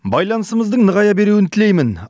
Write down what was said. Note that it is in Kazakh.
байланысымыздың нығая беруін тілеймін